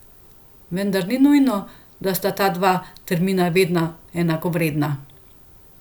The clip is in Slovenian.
Vendar ni nujno, da sta ta dva termina vedno enakovredna.